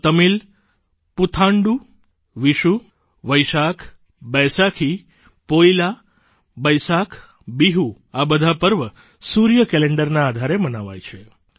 તો તમિલ પુથાંડું વિષુ વૈશાખ બૈસાખી પોઇલા બૈસાખ બિહુ આ બધા પર્વ સૂર્ય કેલેન્ડરના આધારે મનાવાય છે